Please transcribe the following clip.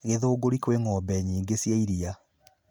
Githunguri kwĩ ng'ombe nyingĩ cia iria.